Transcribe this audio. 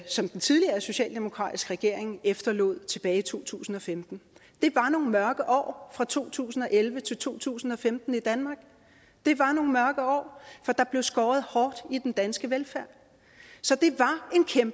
som den tidligere socialdemokratiske regering efterlod tilbage i to tusind og femten det var nogle mørke år fra to tusind og elleve til to tusind og femten i danmark det var nogle mørke år for der blev skåret hårdt i den danske velfærd så det